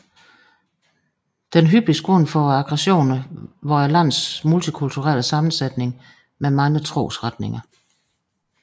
Den hyppigste grund for aggressioner var landets multikulturelle sammensætning med mange trosretninger